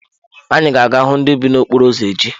Anyị ga-aga hụ ndị bi n’okporo ụzọ echi.